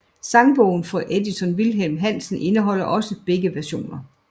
Sangbogen fra Edition Wilhelm Hansen indeholder også begge versioner